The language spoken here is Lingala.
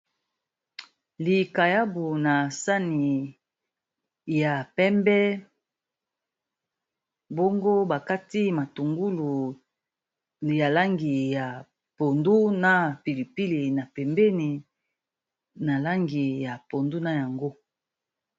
Likayabu na sani ya pembe, bongo ba kati matungulu ya langi ya pondu, na pilipili, na pembeni, na langi ya pondu na yango.